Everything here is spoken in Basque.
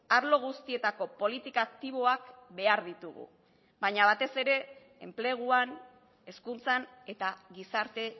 arlo guztietako politika aktiboak behar ditugu baina batez ere enpleguan hezkuntzan eta gizarte